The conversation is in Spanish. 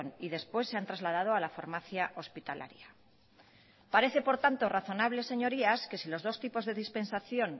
y después se han trasladado a la farmacia hospitalaria parece por tanto razonable señorías que si los dos tipos de dispensación